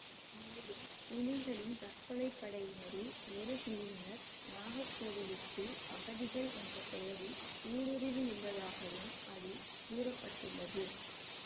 மேலும் புலிகளின் தற்கொலை படையினரில் ஒரு பிரிவினர் நாகர்கோவிலுக்குள் அகதிகள் என்ற பெயரில் ஊடுருவியுள்ளதாகவும் அதில் கூற பட்டுள்ளது